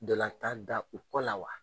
Dɔlatan da u kɔ la wa?